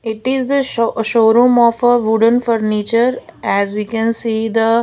it is the show showroom of a wooden furniture as we can see the --